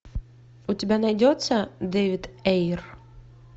у тебя найдется дэвид эйр